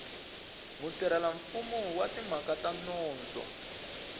mutirhelamfumo wa timhaka ta nondzo